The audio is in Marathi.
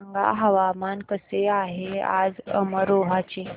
सांगा हवामान कसे आहे आज अमरोहा चे